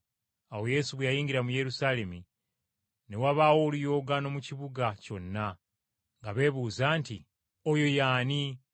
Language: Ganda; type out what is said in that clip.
Awo Yesu bwe yayingira mu Yerusaalemi, ne wabaawo oluyoogaano mu kibuga kyonna nga beebuuza nti, “Ono ye ani?”